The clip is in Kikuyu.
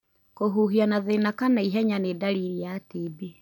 Kũhuhia na thĩna kana ihenya ni dalili ya TB.